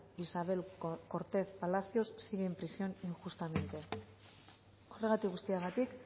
isabel cortez palacios sigue en prisión injustamente horregatik guztiagatik